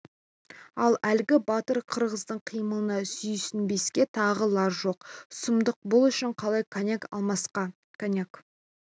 ал әлгі батыр киргиздің қимылына сүйсінбеске тағы лаж жоқ сұмдық бұл үшін қалай коньяк алмасқа коньяк